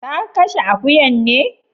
Ka Kashe akuyan ne?